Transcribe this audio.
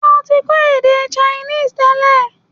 Ṣé o ti kọ́ èdè Chinese tẹ́lẹ̀?